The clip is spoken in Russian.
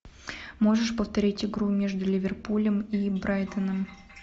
можешь повторить игру между ливерпулем и брайтоном